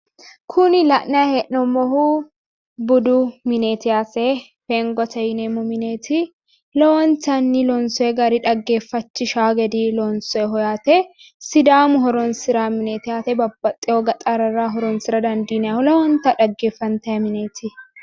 Kuni la’nayi hee’noomohu budu mineeti yaate fengote yineemmo mineeti lowontanni loonsoyi gari xaggeeffachishaa gede loonsoyi yaate. Sidaamu horonsiraawo mineeti yaate babbaxitewo gaxarrara horonsira dandiinayiho lowonta xaggeefantayi mineeti.